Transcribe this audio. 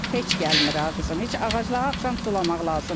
Heç gəlmir ağacımı, heç ağacları axşam sulamaq lazımdır.